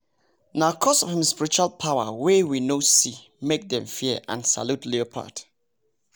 nah coz of hin spiritual power way we no see make dem fear and salute leopard